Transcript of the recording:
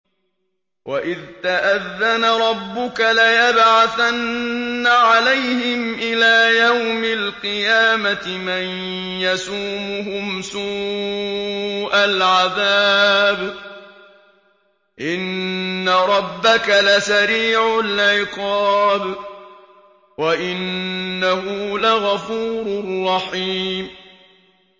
وَإِذْ تَأَذَّنَ رَبُّكَ لَيَبْعَثَنَّ عَلَيْهِمْ إِلَىٰ يَوْمِ الْقِيَامَةِ مَن يَسُومُهُمْ سُوءَ الْعَذَابِ ۗ إِنَّ رَبَّكَ لَسَرِيعُ الْعِقَابِ ۖ وَإِنَّهُ لَغَفُورٌ رَّحِيمٌ